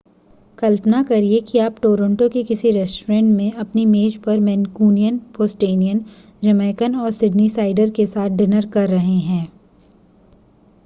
कल्पना करिए कि आप टोरंटो के किसी रेस्टोरेंट में अपनी मेज पर मैन्कूनियन बोस्टोनियन जमैकन और सिडनीसाइडर के साथ डिनर कर रहे हैं